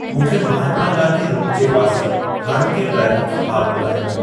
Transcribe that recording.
मूंखे महात्मा गांधी रोड जे पासे हाणोके ट्रैफ़िक जो हालु ॿुधायो।